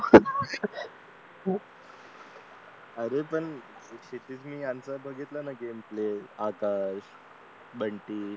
अरे पण क्षितिज ने बघितला ना गेम प्ले आता बंटी